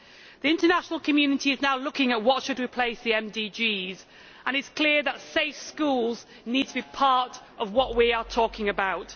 The international community is now looking at what should replace the MDGs and it is clear that safe schools need to be part of what we are talking about.